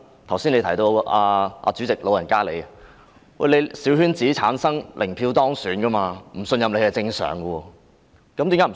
剛才亦提到主席，你也是由小圈子產生，零票當選，所以不信任你是正常的事。